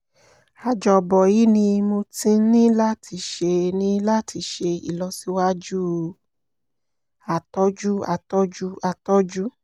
àjọ́bọ̀ yìí ni mo ti ní láti ṣe ní láti ṣe ìlọsíwájú àtọ́jú àtọ́jú àtọ́jú